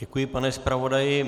Děkuji, pane zpravodaji.